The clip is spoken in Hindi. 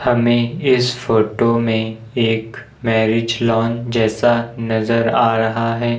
हमे इस फोटो में एक मैरिज लॉन जैसा नजर आ रहा है।